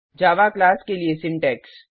जावा class के लिए syntax